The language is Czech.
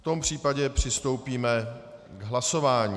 V tom případě přistoupíme k hlasování.